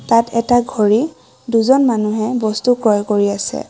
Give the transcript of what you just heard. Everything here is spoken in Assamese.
তাত এটা ঘড়ী দুজন মানুহে বস্তু ক্ৰয় কৰি আছে।